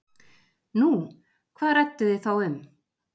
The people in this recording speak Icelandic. Nú, hvað rædduð ið þá um?